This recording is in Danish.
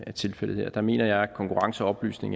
er tilfældet her der mener jeg at konkurrence og oplysning